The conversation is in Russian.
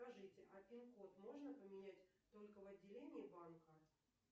скажите а пин код можно поменять только в отделении банка